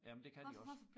Jamen det kan de også